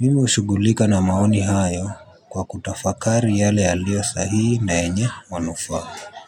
Mimi hushughulika na maoni hayo kwa kutafakari yale yaliyo sahihi na yenye manufaa.